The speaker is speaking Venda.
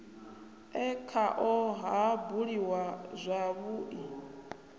e khao ha buliwa zwavhui